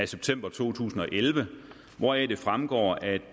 september to tusind og elleve hvoraf det fremgår at